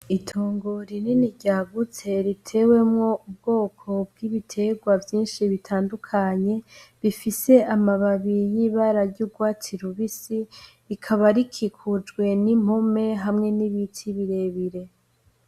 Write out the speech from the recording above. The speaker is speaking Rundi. Itungu rinini ry'agutse ritewemwo ubwoko bw'ibiterwa vyinshi bitandukanye bifise amababi y'ibara ry'urwatsi rubisi, rikaba rikikujwe ni nkume hamwe n'ibiti birebire.